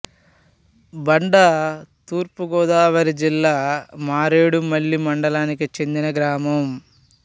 బండ తూర్పు గోదావరి జిల్లా మారేడుమిల్లి మండలానికి చెందిన గ్రామం